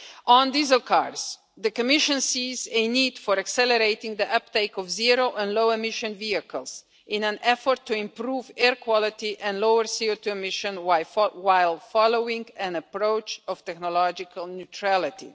On diesel cars the Commission sees a need for accelerating the uptake of zero and low emission vehicles in an effort to improve air quality and lower CO2 emissions, while following an approach of technological neutrality.